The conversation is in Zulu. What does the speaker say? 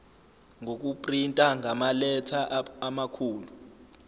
ngokuprinta ngamaletha amakhulu